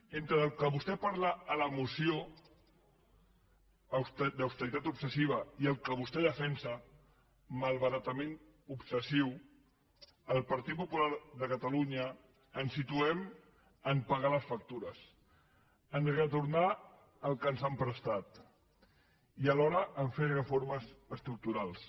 entre el que vostè parla a la moció austeritat obsessiva i el que vostè defensa malbaratament obsessiu el partit popular de catalunya ens situem a pagar les factures a retornar el que ens han prestat i alhora a fer reformes estructurals